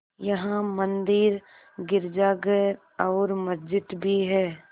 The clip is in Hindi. यहाँ मंदिर गिरजाघर और मस्जिद भी हैं